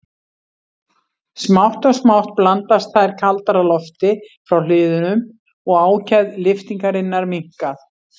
Smátt og smátt blandast þær kaldara lofti frá hliðunum og ákefð lyftingarinnar minnkar.